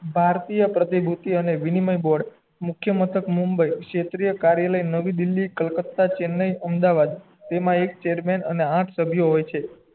ભારતીય પ્રતિ અને મીનીમય બોર્ડ મુખ્ય માન્થક મુંબઈ ક્ષેત્ર કાર્યાલય નવી દિલ્લી કલકત્તા ચેન્નાઈ અમદાવાદ તેમાં એ ચેરમેન અને આઠ સભ્ય હોય છે